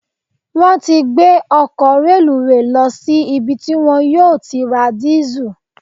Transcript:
Wọ́n ti gbé ọkọ̀ reluwé lọ sí ibi tí wọ́n yóò ti ra dìísù.